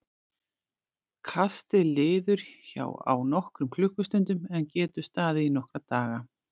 Kastið liður hjá á nokkrum klukkustundum en getur staðið í nokkra daga.